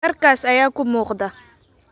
Dharkaas ayaa kuu muuqda